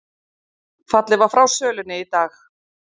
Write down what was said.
Fallið var frá sölunni í dag